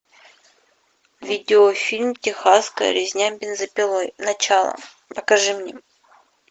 видеофильм техасская резня бензопилой начало покажи мне